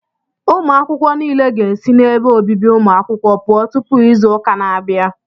Ụmụ akwụkwọ nile ga-esi n'ebe obibi ụmụ akwụkwọ pụọ tụpụ izu ụka na-abịa